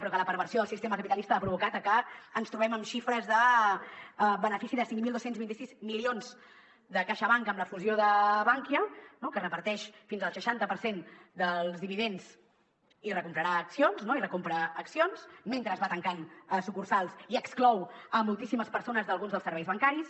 però la perversió del sistema capitalista ha provocat que ens trobem amb xifres de benefici de cinc mil dos cents i vint sis milions de caixabank amb la fusió de bankia que reparteix fins al seixanta per cent dels dividends i recomprarà accions no i recompra ac·cions mentre va tancant sucursals i exclou moltíssimes persones d’alguns dels ser·veis bancaris